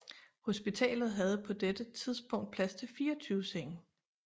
Hospitalet havde på dette tidspunkt plads til 24 senge